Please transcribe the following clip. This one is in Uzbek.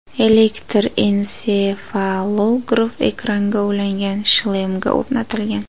Elektr ensefalograf ekranga ulangan shlemga o‘rnatilgan.